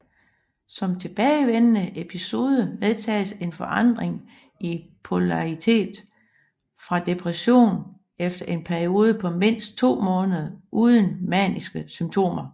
Som tilbagevendende episode medtages en forandring i polaritet fra depression efter en periode på mindst to måneder uden maniske symptomer